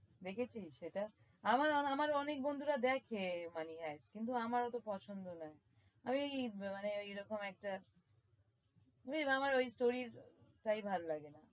দেখেছিস এটা? আমার অনে~ আমার অনেক বন্ধুরা দেখে money hive কিন্তু আমার ওতো পছন্দ না। আমি ওই মানে ওইরকম একটা বুঝলি আমার ওই stories টাই ভাল লাগে না।